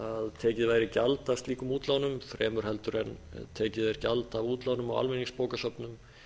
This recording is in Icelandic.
tekið væri gjald af slíkum útlánum fremur heldur en tekið er gjald af útlánum á almenningsbókasöfnum